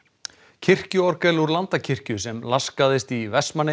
kirkjuorgel úr Landakirkju sem laskaðist í